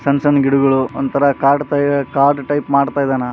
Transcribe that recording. ಸಣ್ಣ್ ಸಣ್ಣ್ ಗಿಡಗಳು ಒಂಥರಾ ಕಾಡು ತೈ ಕಾಡು ಟೈಪ್‌ ಮಾಡ್ತಾ ಇದಾನ.